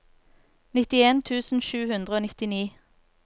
nittien tusen sju hundre og nittini